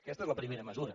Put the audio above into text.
aquesta és la primera mesura